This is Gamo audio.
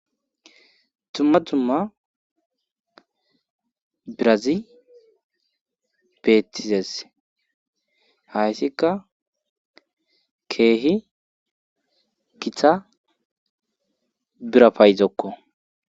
Dumma dumma birazi beettizes hayssika keehi Gita bira payzokko